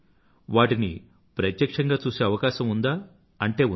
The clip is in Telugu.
వాటిని ప్రత్యక్షంగా చూసే అవకాశం ఉందా అంటే ఉంది